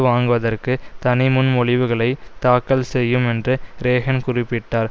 வாங்குவதற்கு தனிமுன்மொழிவுகளை தாக்கல் செய்யும் என்று ரேஹன் குறிப்பிட்டார்